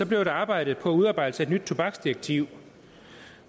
blev der arbejdet på udarbejdelse af et nyt tobaksdirektiv